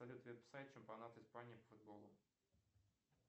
салют веб сайт чемпионат испании по футболу